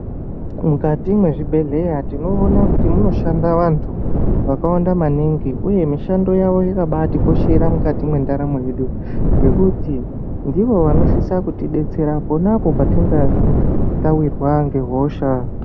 Mukati mwezvibhedhlera tinoona kuti munoshanda vantu vakawanda maningi uye mishando yavo yakabaatikoshera mukati mwendaramo yedu ngekuti ndiwo vanosise kutibetsera ponapo patinonga tawirwa ngehosha.